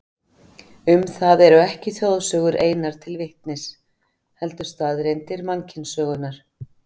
Um það eru ekki þjóðsögur einar til vitnis, heldur staðreyndir mannkynssögunnar.